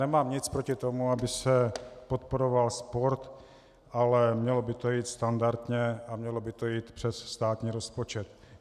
Nemám nic proti tomu, aby se podporoval sport, ale mělo by to jít standardně a mělo by to jít přes státní rozpočet.